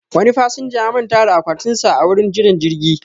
Wani fasinja ya manta da akwatin sa a gurin jiran jirgi